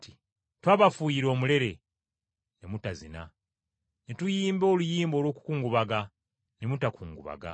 “ ‘Twabafuuyira omulere, ne mutazina; ne tuyimba oluyimba olw’okukungubaga, ne mutakungubaga.’